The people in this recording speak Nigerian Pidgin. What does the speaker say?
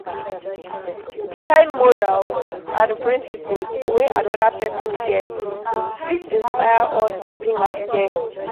Di kind morals and principles wey anoda person get fit inspire us to be like them